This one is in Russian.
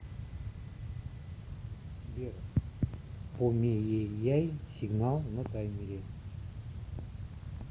сбер помееяй сигнал на таймере